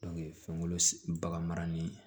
fɛnkolo bagan mara ni